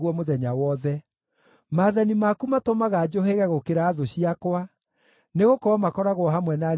Maathani maku matũmaga njũhĩge gũkĩra thũ ciakwa, nĩgũkorwo makoragwo hamwe na niĩ hĩndĩ ciothe.